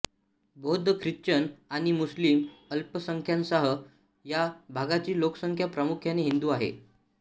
बौद्ध ख्रिश्चन आणि मुस्लिम अल्पसंख्याकांसह या भागाची लोकसंख्या प्रामुख्याने हिंदू आहे